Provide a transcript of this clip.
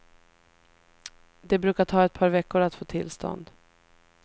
Det brukar ta ett par veckor att få tillstånd.